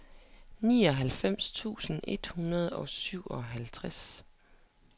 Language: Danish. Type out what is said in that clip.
nioghalvfems tusind et hundrede og syvoghalvtreds